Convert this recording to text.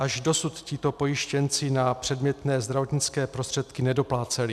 Až dosud tito pojištěnci na předmětné zdravotnické prostředky nedopláceli.